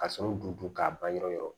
Ka sɔrɔ dun dun k'a ban yɔrɔ yɔrɔ